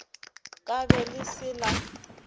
ka be le se la